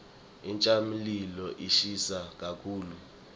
intsabamlilo ishisa kakhulu